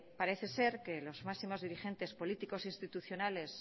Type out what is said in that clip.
parece ser que los máximos dirigentes políticos institucionales